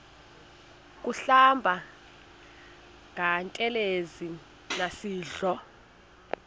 kuhlamba ngantelezi nasidlo